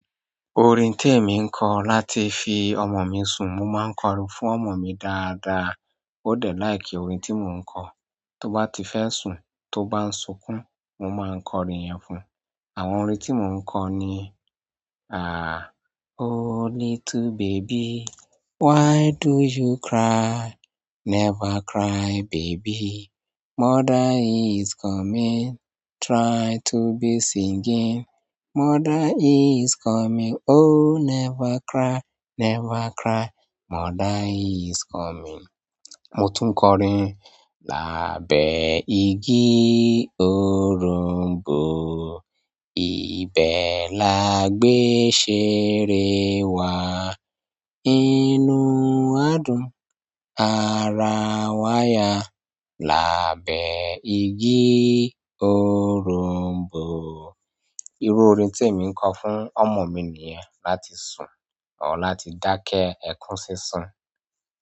Orin tí èmi ń kọ láti fi ọmọ mi sùn, mo máa ń kọrin fún ọmọ mi dáadáa. Ó dẹ̀ like orin tí mò ń kọ, tó bá ti fẹ́ sùn, tó bá ń sunkún, mo máa ń kọ orin yẹn fún. Àwọn orin tí mo ń kọ ni, "oh little baby, why do you cry?" Never cry baby, mother is coming, try to be singing. Mother is coming, oh never cry, never cry, mother is coming. Mo tún kọ orin "lábẹ́ igi òroǹbó, ibẹ̀ la gbé ṣéèrè wa. Inú wa dùn, ara wáyà, lábẹ́ igi òroǹbó." Irú orin tí èmi ń kọ fún ọmọ mi nìyẹn, láti sun, or láti dákẹ́ ẹkún sísun.